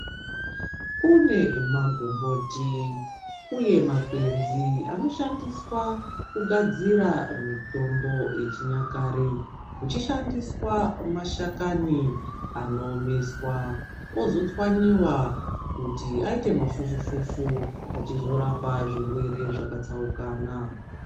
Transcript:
Kune magomboti uye magwenzi anoshandiswa kugadzira mitombo yechinyakare kuchishandiswa mashakani anoomeswa ozotswanyiwa kuti aiite mafufu-fufu achizorapa zvirwere zvakatsaukana.